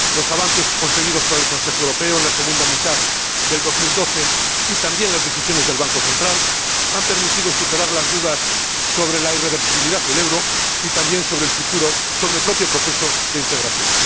Los avances conseguidos por el Consejo Europeo en la segunda mitad de 2012 y también las decisiones del Banco Central Europeo han permitido superar las dudas sobre la irreversibilidad del euro y también sobre el propio proceso de integración.